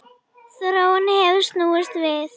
Þróunin hefur snúist við.